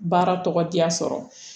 Baara tɔgɔ diya sɔrɔ